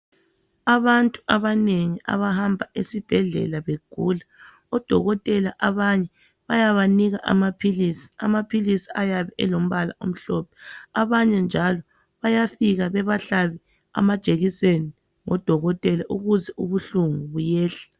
Abantu abanengi abahamba esibhedlela begula odokotela abanye bayabanika amaphilisi ayabe elombala omhlophe. Abanye njalo bayafika bebahlabe amajekiseni ukuze ubuhlungu buyehle.